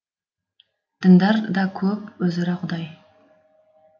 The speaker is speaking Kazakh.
діндар да көп өзара құдай